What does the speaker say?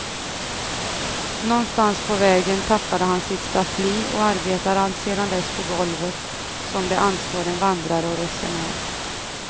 Någonstans på vägen tappade han sitt staffli och arbetar alltsedan dess på golvet, som det anstår en vandrare och resenär.